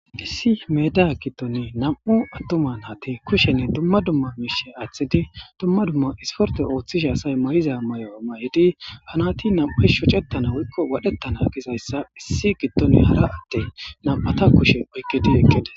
issi meda giddon nam7u attuman hate kushenne dumma dumma miishe aaththidi dumma dumma isporte ooththishe asay mayiza may7o ama7idi hanati nam7u shocettana wuikko wadhettana gizayssa issi giddone hara atte nam7ata kushe oykkid eqides